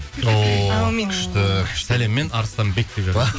ооо әумин күшті күшті сәлеммен арыстанбек деп